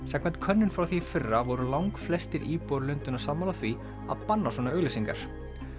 samkvæmt könnun frá því í fyrra voru langflestir íbúar Lundúna sammála því að banna svona auglýsingar